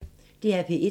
DR P1